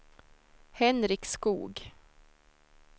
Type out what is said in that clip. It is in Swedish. Henrik Skog